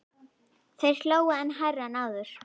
Þeir hlógu enn hærra en áður.